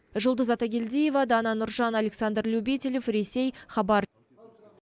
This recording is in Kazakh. жұлдыз атагелдиева дана нұржан александр любителев ресей хабар